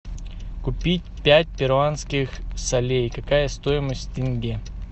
купить пять перуанских солей какая стоимость тенге